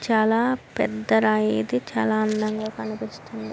చాలా పెద్ద రాయి ఇది. చాల అందంగా కనిపిస్తుంది.